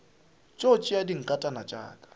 tšo tšea dinkatana tša ka